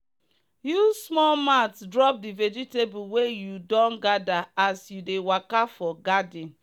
use small mat drop the vegetable wey you don gather as you dey waka for garden.